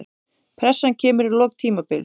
Pressan kemur í lok tímabils.